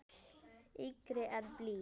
Þyngri en blý.